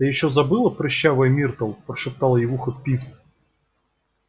ты ещё забыла прыщавая миртл прошептал ей в ухо пивз